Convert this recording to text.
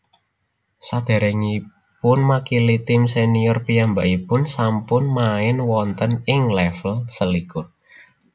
Sadèrèngipunmakili tim sènior piyambakipun sampun main wonten ing lèvel selikur